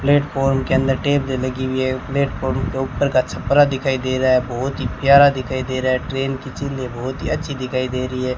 Platform के अंदर टेबलें लगी हुई है प्लेटफॉर्म के ऊपर का छपरा दिखाई दे रहा है बहुत ही प्यारा दिखाई दे रहा है ट्रेन की चीजें बहुत ही अच्छी दिखाई दे रही है।